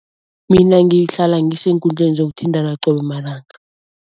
Mina ngihlala ngiseenkundleni zokuthintana qobe malanga.